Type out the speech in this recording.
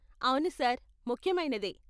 అవును సార్, ముఖ్యమైనదే.